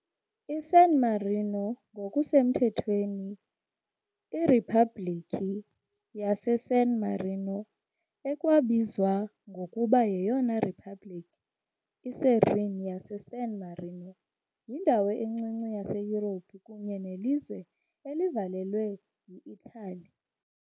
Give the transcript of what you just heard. ISan Marino ngokusemthethweni iRiphabhlikhi yaseSan Marino, ekwabizwa ngokuba yeyona Republic iSerene yaseSan Marino, yindawo encinci yaseYurophu kunye nelizwe elivalelwe yi -Itali .